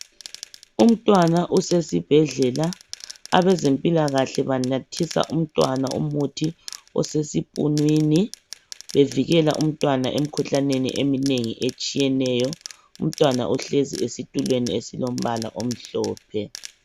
Umntwana usesibhedlela, abezempilakahle banathisa umntwana umuthi oseseipunwini bevikela umntwana emkhuhlaneni etshiyeneyo. Umntwana ohlezi esitulweni esilombala omhlophe.